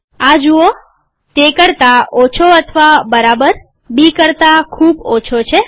આ જુઓ તે કરતા ઓછો અથવા બરાબર બી કરતા ખૂબ ઓછો છે